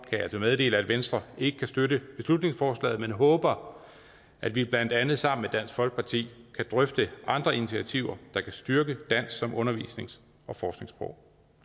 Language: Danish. jeg meddele at venstre ikke kan støtte beslutningsforslaget men håber at vi blandt andet sammen dansk folkeparti kan drøfte andre initiativer der kan styrke dansk som undervisnings og forskningssprog